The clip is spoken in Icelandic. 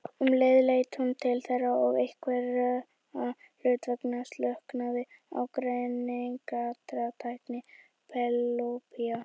Um leið leit hún til þeirra og einhverra hluta vegna slöknaði á greiningartæki Penélope.